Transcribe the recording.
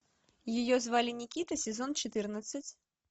ее звали никита сезон четырнадцать